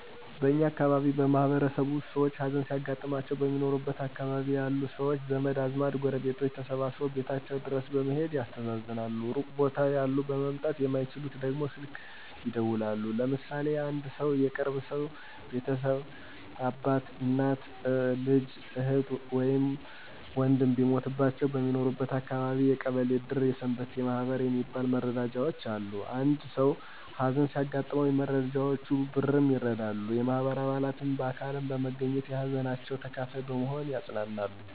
በእኛ አካባቢ ማህበረሰብ ውስጥ ሰውች ሀዘን ሲያጋጥማቸው በሚኖሩበት አካባቢ ያሉ ሰውች ዘመድ አዝማድ ጎረቤቶች ተሰባስበው ቤታቸው ድረስ በመሔድ ያስተዛዝናሉ ሩቅ ቦታ ያሉ መምጣት የማይችሉት ደግሞ ስልክ ይደውላሉ። ለምሳሌ አንድ ሰው የቅርብ ቤተሰብ አባት፣ እናት፣ ልጅ፣ እህት ወይም ወንድም ቢሞትባቸው በሚኖርበት አካባቢ የቀበሌ እድር የሰንበቴ ማህበር የሚባል መረዳጃውች አሉ። እናም አንድ ሰው ሀዘን ሲያጋጥመው ከየመረዳጃውቹ በ ብርም ይረዳሉ፣ የማህበሩ አባላትም በአካልም በመገኝት የሀዘናቸው ተካፋይ በመሆን ያፅናናሉ።